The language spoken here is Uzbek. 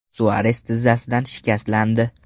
Suares tizzasidan shikastlandi.